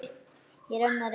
Ég er enn að reyna.